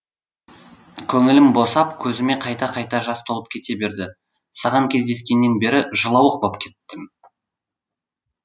көңілім босап көзіме қайта қайта жас толып кете берді саған кездескеннен бері жылауық боп кеттім